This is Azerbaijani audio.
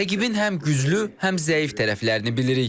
Rəqibin həm güclü, həm zəif tərəflərini bilirik.